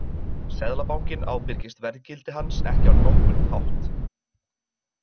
Seðlabankinn ábyrgist verðgildi hans ekki á nokkurn hátt.